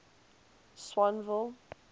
swanville